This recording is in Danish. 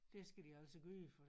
Det skal de altså gøre for